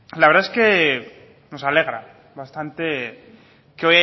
la verdad es que nos alegra bastante que